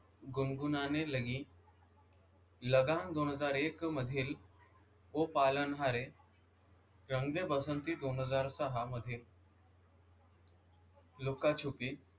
गुनगुनाने लगी लगान दोन हजार एक मधील ओ पालनहारे, दोन हजार सहा मधील रंग दे बसंती दोन हजार सहा मधील लुक्का छुपी,